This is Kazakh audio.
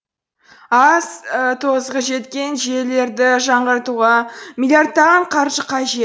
ал тозығы жеткен желілерді жаңғыртуға миллиардтаған қаржы қажет